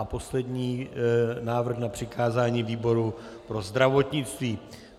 A poslední návrh - na přikázání výboru pro zdravotnictví.